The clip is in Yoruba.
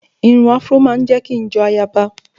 Irun afró ma ń jẹ́ kí n jọ ayaba